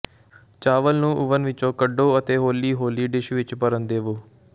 ਚਾਵਲ ਨੂੰ ਓਵਨ ਵਿੱਚੋਂ ਕੱਢੋ ਅਤੇ ਹੌਲੀ ਹੌਲੀ ਡਿਸ਼ ਵਿੱਚ ਭਰਨ ਦੇਵੋ